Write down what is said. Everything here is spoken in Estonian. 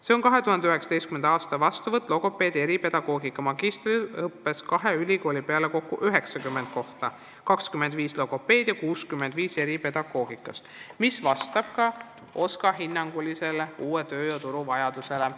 Seega on 2019. aasta vastuvõtt logopeedi ja eripedagoogika magistriõppes kahe ülikooli peale kokku 90 kohta: 25 logopeedi ja 65 eripedagoogikas, mis vastab OSKA hinnangul uuele töö- ja turuvajadusele.